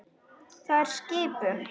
Það er skipun!